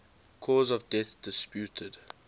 cause of death disputed